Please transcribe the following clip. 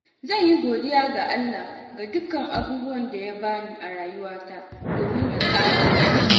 Zan yi godiya ga Allah ga dukkan abubuwan da Ya bani a rayuwata, domin Ya ƙara mun.